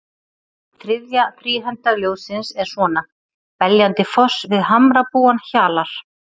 Þriðja þríhenda ljóðsins er svona: Beljandi foss við hamrabúann hjalar